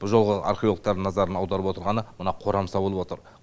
бұл жолғы археологтардың назарын аударып отырғаны мына қорамса болып отыр